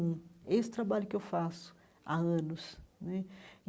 Esse é o trabalho que eu faço há anos né.